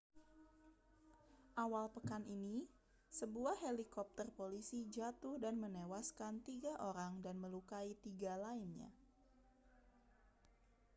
awal pekan ini sebuah helikopter polisi jatuh dan menewaskan tiga orang dan melukai tiga lainnya